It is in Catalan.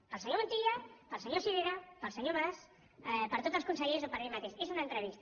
per al senyor montilla per al senyor sirera per al senyor mas per a tots els consellers o per a mi mateix és una entrevista